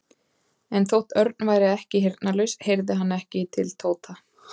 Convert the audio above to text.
En þótt Örn væri ekki heyrnarlaus heyrði hann ekki til Tóta.